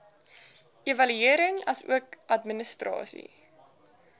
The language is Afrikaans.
evaluering asook administrasie